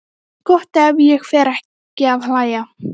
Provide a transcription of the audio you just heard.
Gott ef ég fer ekki að hlæja.